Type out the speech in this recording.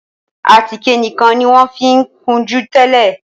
Àtíkè nìkàn ní wón fí kunjú tẹlẹ.